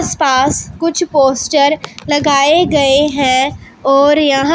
आस पास कुछ पोस्टर लगाए गए हैं और यहां--